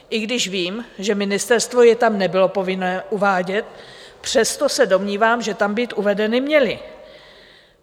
I když vím, že ministerstvo je tam nebylo povinné uvádět, přesto se domnívám, že tam být uvedeny měly.